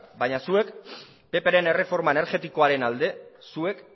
baina zuek pp ren erreforma energetikoaren alde zuek